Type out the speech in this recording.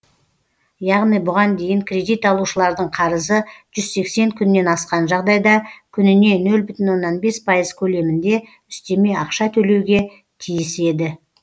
яғни бұған дейін кредит алушылардың қарызы жүз сексен күннен асқан жағдайда күніне нөл бүтін оннан бес пайыз көлемінде үстеме ақша төлеуге тиіс еді